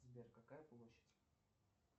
сбер какая площадь